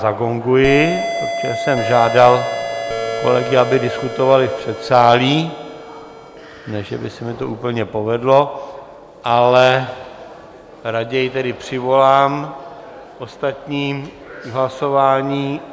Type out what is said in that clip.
Zagonguji, protože jsem žádal kolegy, aby diskutovali v předsálí, ne že by se mi to úplně povedlo, ale raději tedy přivolám ostatní k hlasování.